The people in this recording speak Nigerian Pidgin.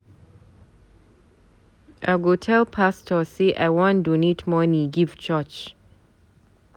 I go tell pastor say I wan donate money give church.